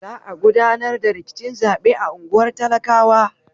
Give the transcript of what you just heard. Za a gudanar da rikicin zaɓe a unguwar talakawa.